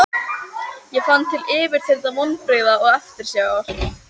Ég fann til yfirþyrmandi vonbrigða og eftirsjár.